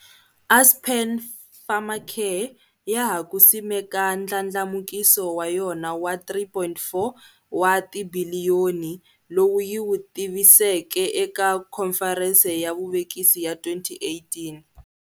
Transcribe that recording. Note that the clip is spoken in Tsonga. Aspen Pharmacare ya ha ku simeka ndlandlamukiso wa yona wa R3.4 wa tibiliyoni, lowu yi wu tiviseke eka Khomferense ya Vuvekisi ya 2018.